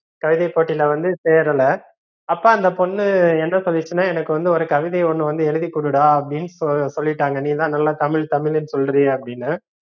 கவிதை போட்டில வந்து சேரல அப்ப அந்த பொண்ணு என்ன சொல்லிருசுனா எனக்கு வந்து ஒரு கவிதை ஒன்னு வந்து எழுதிக்குடுடா அப்படின்னு சொல்லிட்டாங்க நீதா நல்லா தமிழ் தமிழ்னு சொல்றியே அப்படின்னு